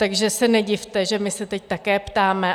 Takže se nedivte, že my se teď také ptáme.